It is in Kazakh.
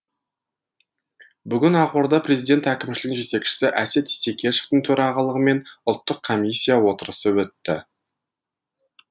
бүгін ақордада президент әкімшілігінің жетекшісі әсет исекешевтің төрағалығымен ұлттық комиссия отырысы өтті